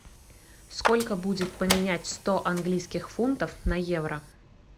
сколько будет поменять сто английских фунтов на евро